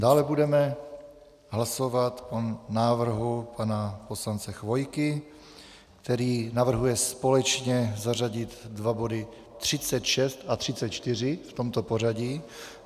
Dále budeme hlasovat o návrhu pana poslance Chvojky, který navrhuje společně zařadit dva body 36 a 34 v tomto pořadí.